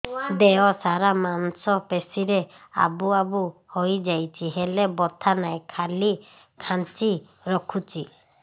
ଦେହ ସାରା ମାଂସ ପେଷି ରେ ଆବୁ ଆବୁ ହୋଇଯାଇଛି ହେଲେ ବଥା ନାହିଁ ଖାଲି କାଞ୍ଚି ରଖୁଛି